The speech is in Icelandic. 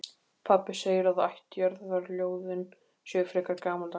Pabbi segir að ættjarðarljóðin séu frekar gamaldags.